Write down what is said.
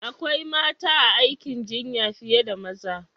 Akwai mata a aikin jinya fiye da maza.